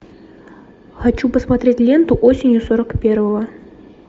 хочу посмотреть ленту осенью сорок первого